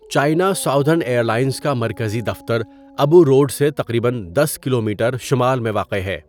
China Southern Airlines کا مرکزی دفتر ابو روڈ سے تقریباً دس کلومیٹر شمال میں واقع ہے.